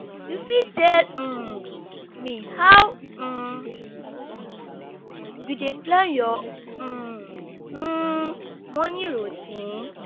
you fit tell um me how um you dey plan your um um morning routine?